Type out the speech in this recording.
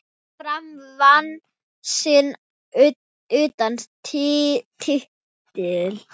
Fram vann sinn áttunda titil.